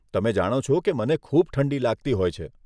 તમે જાણો છો કે મને ખૂબ ઠંડી લાગતી હોય છે.